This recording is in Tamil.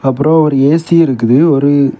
ஆப்ரம் ஒரு ஏ_சி இருக்குது ஒரு.